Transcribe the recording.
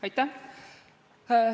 Aitäh!